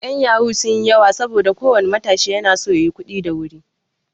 'Yan yahoo sun yi yawa saboda ko wani matashi na so ya yi kuɗi da wuri.